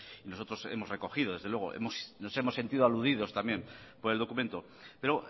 y nosotros hemos recogido desde luego nos hemos sentido aludidos también por el documento pero